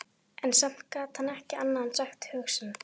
En samt gat hann ekki annað en sagt hug sinn.